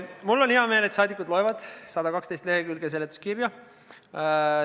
Mul on hea meel, et rahvasaadikud loevad läbi 112-leheküljelise seletuskirja.